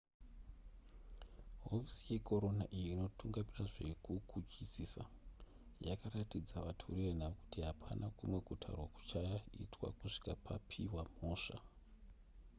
hofisi yekorona iyo inotungamira zvekukuchusisa yakaratidza vatori venhau kuti hapana kumwe kutaurwa kuchaitwa kusvika paipiwa mhosva